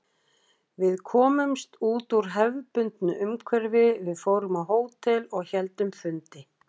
Við komumst út úr hefðbundnu umhverfi, við fórum á hótel og héldum fundi.